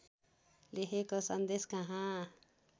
लेखेको सन्देश कहाँ